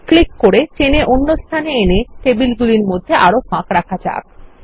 click করে টেনে অন্য স্থানে এনে টেবিলগুলির মধ্যে আরও ফাঁক রাখা যাক